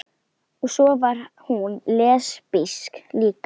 Og svo var hún lesbísk líka.